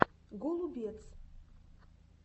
голубец